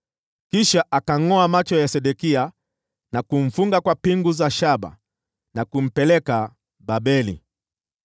Kisha akayangʼoa macho ya Sedekia na kumfunga kwa pingu za shaba na kumpeleka Babeli.